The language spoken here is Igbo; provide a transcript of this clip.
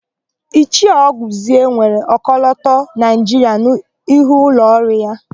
Ichie Ọgụzie nwere ọkọlọtọ Naịjiria n'ihu ụlọọrụ ya.